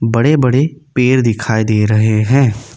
बड़े बड़े पेड़ दिखाई दे रहे हैं।